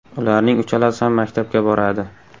Ularning uchalasi ham maktabga boradi.